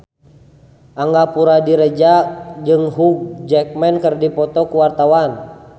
Angga Puradiredja jeung Hugh Jackman keur dipoto ku wartawan